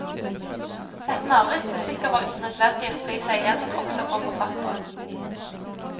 Et mareritt det sikkert var nødvendig å stri seg igjennom også for forfatteren.